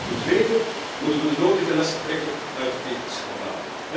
Ten tweede moeten we de nodige lessen trekken uit dit schandaal.